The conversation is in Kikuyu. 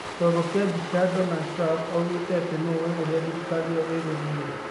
Kiongo kia mbica, Donald Trump oigĩre ati 'nũ ũĩ ũrĩa thirikari ĩyo ĩkũthiĩ.